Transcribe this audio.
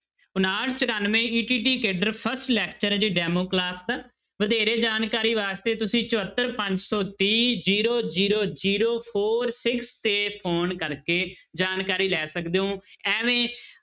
ਉਣਾਹਠ ਚੁਰਾਨਵੇਂ ETT cadre first lecture ਆ ਜੀ demo class ਦਾ, ਵਧੇਰੇ ਜਾਣਕਾਰੀ ਵਾਸਤੇ ਤੁਸੀਂ ਚੁਹੋਤਰ ਪੰਜ ਸੌ ਤੀਹ zero zero zero four six ਤੇ phone ਕਰਕੇ ਜਾਣਕਾਰੀ ਲੈ ਸਕਦੇ ਹੋ ਅੇਵੇਂ